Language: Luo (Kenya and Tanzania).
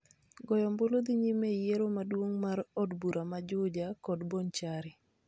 Goyo ombulu dhi nyime e yiero maduong' mar od bura ma Juja kod Bonchari.